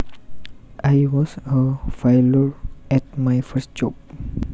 I was a failure at my first job